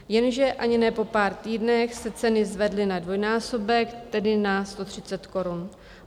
Jenže ani ne po pár týdnech se ceny zvedly na dvojnásobek, tedy na 130 korun.